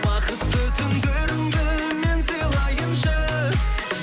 бақытты түндеріңді мен сыйлайыншы